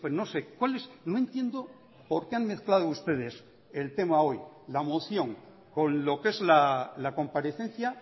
no sé cuál es no entiendo por qué han mezclado ustedes el tema hoy la moción con lo que es la comparecencia